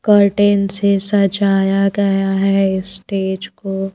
curtain से सजाया गया है स्टेज को--